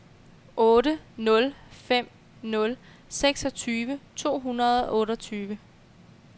otte nul fem nul seksogtyve to hundrede og otteogtyve